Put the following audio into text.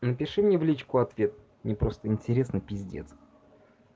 напиши мне в личку ответ мне просто интересно пиздец